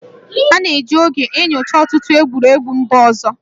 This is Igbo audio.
A na-eji oge enyocha ọtụtụ egwuregwu mba ọzọ